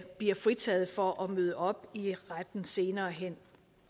bliver fritaget for at møde op i retten senere hen